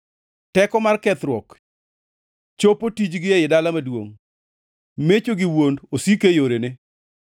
Teko mar kethruok chopo tijgi ei dala maduongʼ, mecho gi wuond osiko e yorene.